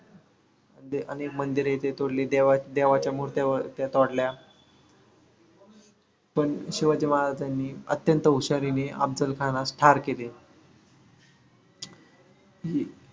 अनेक मंदिर ही ते तोडले, देवाच्या मुर्त्या त्या तोडल्या. पण शिवाजी महाराजांनी अत्यंत हुशारीने अफजलखानास ठार केले.